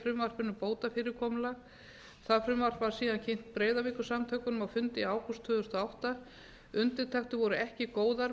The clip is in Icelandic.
frumvarpinu bótafyrirkomulag það frumvarp var síðan kynnt breiðavíkursamtökunum á fundi í ágúst tvö þúsund og átta undirtektir voru ekki góðar